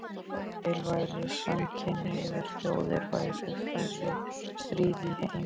Ef til væru samkynhneigðar þjóðir væru færri stríð í heim